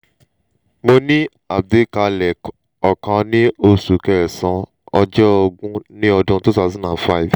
mo ní àgbékalẹ̀ ọkàn ní oṣu kẹ́saan ojo ogun ni odun two thosand and five